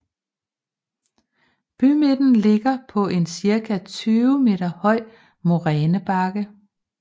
Bymidten ligger på en cirka 20 meter høj morænebakke